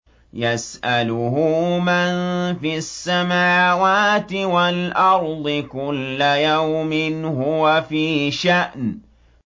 يَسْأَلُهُ مَن فِي السَّمَاوَاتِ وَالْأَرْضِ ۚ كُلَّ يَوْمٍ هُوَ فِي شَأْنٍ